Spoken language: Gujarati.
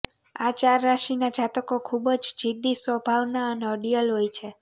આ ચાર રાશિના જાતકો ખુબ જ જીદ્દી સ્વભાવના અને અડીયલ હોય છે